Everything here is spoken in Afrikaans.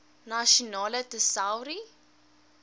nasionale tesourie